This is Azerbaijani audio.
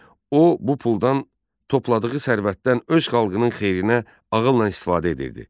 O, bu puldan, topladığı sərvətdən öz xalqının xeyrinə ağılla istifadə edirdi.